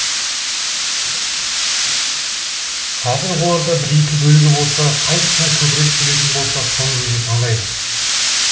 қазір оларда бір екі бөлігі болса қайсысына көбірек төлейтін болса соны өзі таңдайды